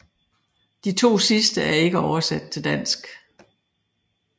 De to sidste er ikke oversat til dansk